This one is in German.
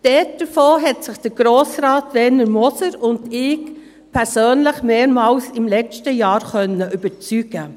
Davon konnten sich Grossrat Werner Moser und ich im letzten Jahr mehrmals persönlich überzeugen.